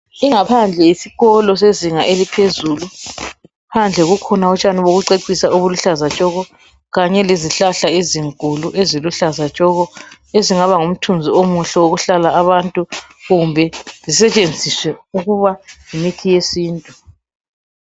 Ingaphandle yesikolo sezinga eliphezulu, Phandle bakhona utshani bokucecisa obuluhlaza tshoko kanye lezihlahla ezinkulu eziluhlaza tshoko ezingaba ngumthunzi omuhle okuhlala abantu kumbe zisetshenziswe ukuba yimithi yesintu.